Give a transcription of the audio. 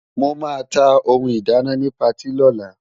Mo máa ta ohun ìdáná ni patí lọ́la.